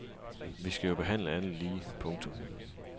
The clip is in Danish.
Vi skal jo behandle alle lige. punktum